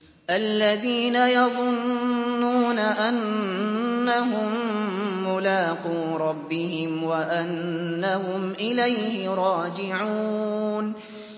الَّذِينَ يَظُنُّونَ أَنَّهُم مُّلَاقُو رَبِّهِمْ وَأَنَّهُمْ إِلَيْهِ رَاجِعُونَ